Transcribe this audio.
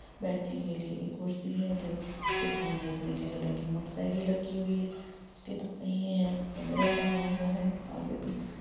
बैठने के लिए एक कुर्सी है जो उसके सामने एक नीले कलर की मोटर साइकिल रखी हुई है उसके दो पहिये हैं उसपे मिरर लगा हुआ है आगे पिछे।